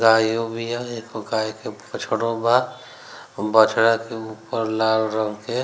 गायो बीया एगो गाय के बछड़ो बा अ बछड़ा के ऊपर लाल रंग के --